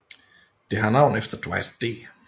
Det har navn efter Dwight D